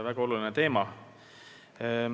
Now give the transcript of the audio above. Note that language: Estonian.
Väga oluline teema.